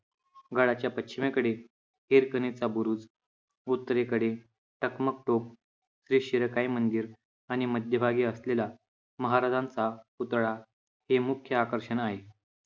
गडाच्या पश्चिमेकडे हिरकणीचा बुरुज, उत्तरेकडे टकमक टोक, श्री शिरकाई मंदिर, आणि मध्यभागी असलेला महाराजांचा पुतळा हे मुख्य आकर्षण आहे